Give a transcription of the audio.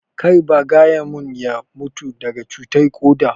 Kar ba gaya mun ya mutu daga cutar koda?